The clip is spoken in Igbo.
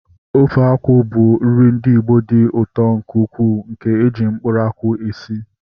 Ofe akwụ bụ nri ndị Igbo dị ụtọ nke ukwuu nke eji mkpụrụ akwụ esi